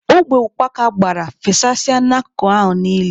Ogbe ukpaka gbara, fesasịa n'akụkụ ahụ niile.